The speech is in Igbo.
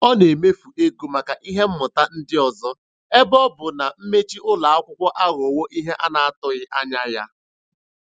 Ọ na-emefu ego maka ihe mmụta ndị ọzọ ebe ọ bụ na mmechi ụlọ akwụkwọ aghọwo ihe a na-atụghị anya ya.